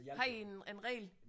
Har I en en regel